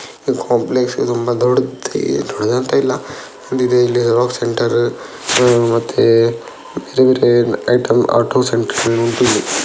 Complex ತುಂಬಾ ದೊಡ್ಡದ್ ದೊಡ್ಡದೇನು ಇಲ್ಲ ಇಲ್ಲಿ ಜೆರಾಕ್ಸ್ ಸೆಂಟರ್ ಮತ್ತೆ ಬೇರೆ ಬೇರೆ ಐಟಂ ಆಟೋ ಸೆಂಟರ್ .